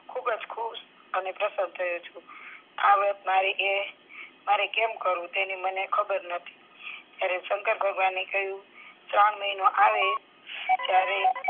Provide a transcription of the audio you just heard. ખુબ જ ખુશ અને પ્રસન્ન થયો છુ આ વ્રત મારે એ કેમ કરવું તેની મને ખબર નથી ત્યારે શંકર ભગવાને કહ્યું શ્રવણ મહિનો આવે ત્યારે